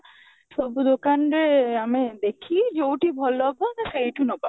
ସବୁ ଦୋକାନରେ ଆମେ ଦେଖିବା ଯୋଉଠୁ ଭଲ ହବ ସେଇଠୁ ନବା